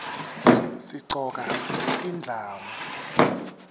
sigcoka tindlamu